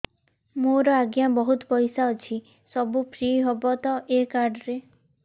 ମୋର ଆଜ୍ଞା ବହୁତ ପଇସା ଅଛି ସବୁ ଫ୍ରି ହବ ତ ଏ କାର୍ଡ ରେ